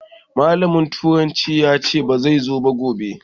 Malamin turanci ya sai ba zai zo ba gobe